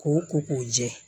K'o ko k'o jɛ